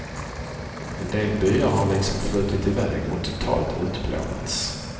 En del byar har liksom flutit iväg och totalt utplånats.